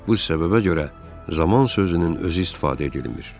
Bu səbəbə görə zaman sözünün özü istifadə edilmir.